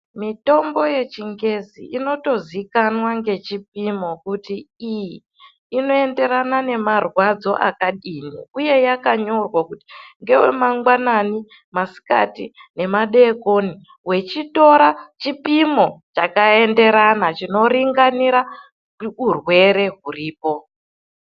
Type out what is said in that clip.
Mitombo yechingezi inotozikanwa ngechipimo kuti iyi inoenderana nemarwadzo akadini uye yakanyorwa kuti iyi ngewe mangwanani, masikati nemadekoni wechitora chipimo chakaenderana chinoringarirana neurwere huripo.